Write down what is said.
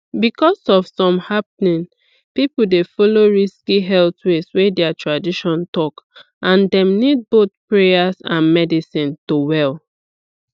because of some happening people dey follow risky health ways wey their tradition talk and dem nid boyh prayers and medicine to well